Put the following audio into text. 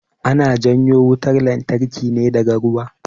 Ana janyo wutan lantarki ne daga ruwa